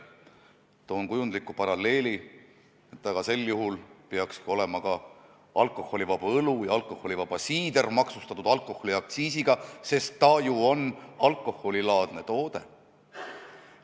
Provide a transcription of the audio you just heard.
Toon sellega seoses kujundliku paralleeli, et sel juhul peaksid alkoholiaktsiisiga olema maksustatud ka alkoholivaba õlu ja alkoholivaba siider, sest need on ju alkoholilaadsed tooted.